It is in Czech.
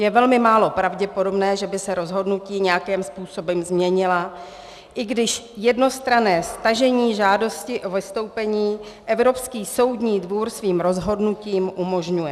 Je velmi málo pravděpodobné, že by se rozhodnutí nějakým způsobem změnilo, i když jednostranné stažení žádosti o vystoupení Evropský soudní dvůr svým rozhodnutím umožňuje.